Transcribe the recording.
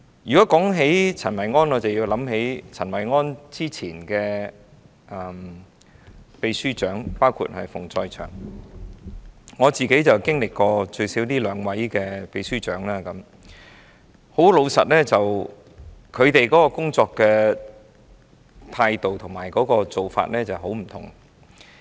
提及陳維安，我們便想起他前任的秘書長，包括馮載祥，我最少經歷了這兩任秘書長，老實說，他們的工作態度和作風很不同。